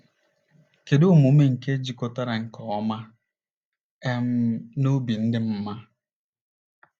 Kedu omume nke jikọtara nke ọma um na obi dị mma?